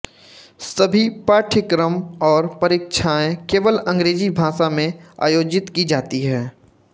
सभी पाठ्यक्रम और परीक्षाएं केवल अंग्रेजी भाषा में आयोजित की जाती हैं